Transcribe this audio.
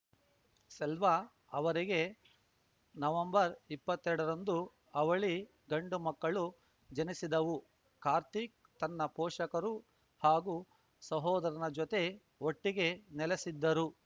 ಸ್ವೆಲ್ವಾ ಅವರಿಗೆ ನವಂಬರ್ಇಪ್ಪತ್ತೆರಡರಂದು ಅವಳಿ ಗಂಡು ಮಕ್ಕಳು ಜನಿಸಿದ್ದವು ಕಾರ್ತಿಕ್‌ ತನ್ನ ಪೋಷಕರು ಹಾಗೂ ಸಹೋದರನ ಜೊತೆ ಒಟ್ಟಿಗೆ ನೆಲೆಸಿದ್ದರು